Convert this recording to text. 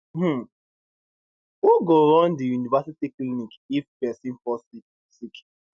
um who go run di university clinic if pesin fall sick sick